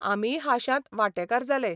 आमीय हांशांत वांटेकार जाले